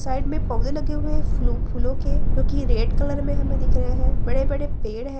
Side में पौधे लगे हुए है फूलो फूलो के जो की रेड कलर में हमे दिख रहे है बड़े-बड़े पेड़ है ।